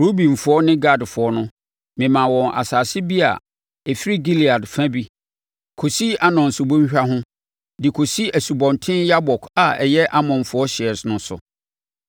Rubenfoɔ ne Gadfoɔ no, memaa wɔn asase bi a ɛfiri Gilead fa bi, kɔsi Arnon subɔnhwa ho, de kɔsi Asubɔnten Yabok a ɛyɛ Amonfoɔ hyeɛ no so.